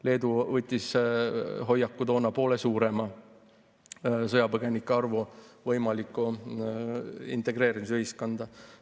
Leedu võttis toona hoiaku poole suurema sõjapõgenike arvu võimalikuks integreerimiseks ühiskonda.